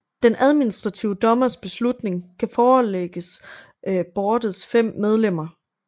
Den administrative dommers beslutning kan forelægges boardets fem medlemmer